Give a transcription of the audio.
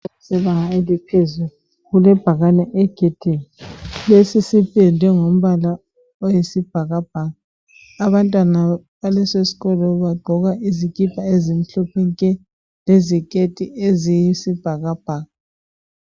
isikolo sebanga eliphezulu kulebhakani egedini lesi sipendwe ngombala wesibhakabhaka abantwana baleso sikolo bagqoka izikipa ezimhlophe nke leziketi eziyisibhakabhaka.